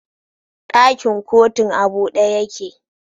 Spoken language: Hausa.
Dakin kotun a bude yake